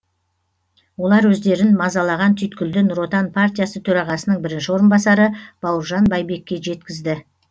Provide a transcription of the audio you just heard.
олар өздерін мазалаған түйткілді нұр отан партиясы төрағасының бірінші орынбасары бауыржан байбекке жеткізді